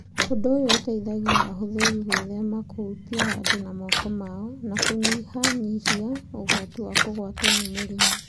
Ũndũ ũyũ ũteithagia ahũthĩri gwĩthema kũhutia handũ na moko mao. Na kũnyihanyihia ũgwati wa kũgwatwo nĩ mũrimũ.